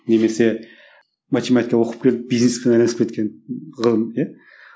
немесе математика оқып келіп бизнеспен айналысып кеткен ғылым иә